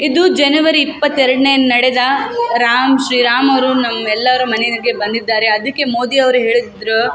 ಇದು ಜನವರಿ ಇಪ್ಪತ್ತೆರಡ್ನೇ ನಡೆದ ರಾಮ್ ಶ್ರೀ ರಾಮ್ ಅವ್ರು ನಮ್ಮೆಲ್ಲರ ಮನೆನಲ್ಲಿ ಬಂದಿದ್ದಾರೆ ಅದಿಕ್ಕೆ ಮೋದಿ ಅವ್ರು ಹೇಳಿದಿದ್ದ್ರು --